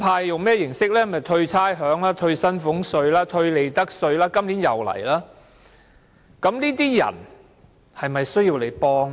就是退差餉、退薪俸稅、退利得稅，今年也是這樣做。